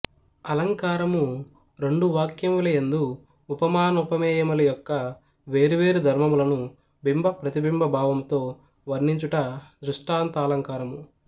అలంకారము రెండు వాక్యముల యందు ఉపమానోపమేయముల యొక్క వేరు వేరు ధర్మములను బింబ ప్రతిబింబ భావముతో వర్ణించుట దృష్టాంతాలంకారము